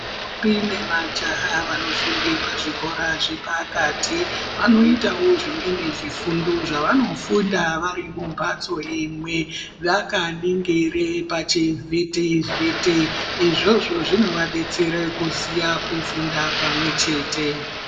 Ntombi nemajaha vanofunda pazvikora zvepakati vanoitawo zvimweni zvifundo zvevanofunda vari mumbatso imwe vakaningire pachivhiti vhiti izvozvo zvinovadetsere kuziya kufunda pamwe chete.